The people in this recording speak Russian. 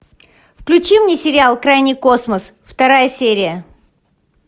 включи мне сериал крайний космос вторая серия